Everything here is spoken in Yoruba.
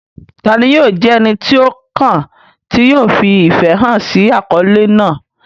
Ta ni yóò jẹ́ ẹni tí ó kàn tí yóò fi ìfẹ́ hàn sí àkọlé náà?